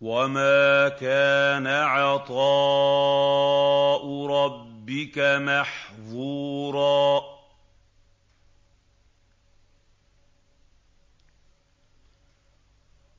وَمَا كَانَ عَطَاءُ رَبِّكَ مَحْظُورًا